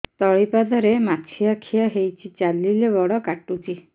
ତଳିପାଦରେ ମାଛିଆ ଖିଆ ହେଇଚି ଚାଲିଲେ ବଡ଼ କାଟୁଚି